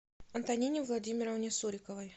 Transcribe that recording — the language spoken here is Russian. антонине владимировне суриковой